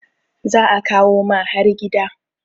za a kawo ma har gida